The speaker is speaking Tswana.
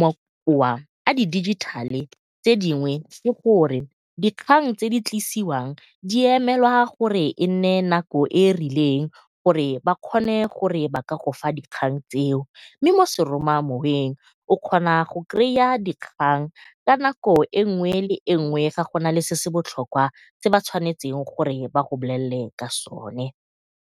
makowa a di dijithale tse dingwe ke gore dikgang tse di tlisiwang di emelwa gore e nne nako e e rileng gore ba kgone go ka go fa dikgang tseo, mme mo seromamoweng o kgona go dikgang ka nako e nngwe le e nngwe ga go nale se se botlhokwa se ba tshwanetseng gore ba go bolelele ka sona.